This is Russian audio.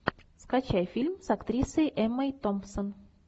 скачай фильм с актрисой эммой томпсон